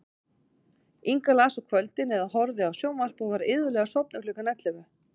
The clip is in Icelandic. Inga las á kvöldin eða horfði á sjónvarp og var iðulega sofnuð klukkan ellefu.